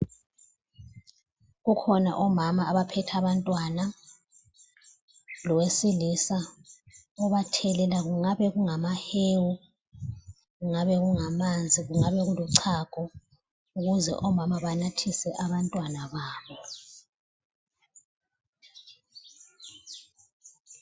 Kukhona omama abaphethe abantwana, lowesilisa obathelela kungabe kungamahewu, kungabe kungamanzi, kungabe kuluchago ukuze omama banathise abantwana babo.